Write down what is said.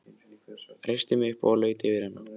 Reisti mig upp og laut yfir hana.